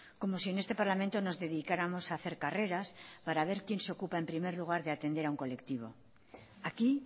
como si en este parlamento nos dedicáramos a hacer carreras para ver quién se ocupa en primer lugar de atender a un colectivo aquí